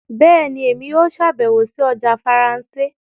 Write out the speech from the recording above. Bẹẹni, Èmí yóò ṣabẹwo sí ọjà Faransé